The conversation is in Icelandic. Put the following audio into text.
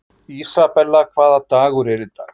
Isabella, hvaða dagur er í dag?